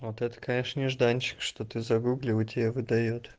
вот это конечно нежданчик что ты загугли и тебя выдаёт